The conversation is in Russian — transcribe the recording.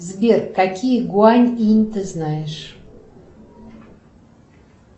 сбер какие гуань инь ты знаешь